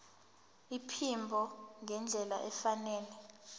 iphimbo ngendlela efanele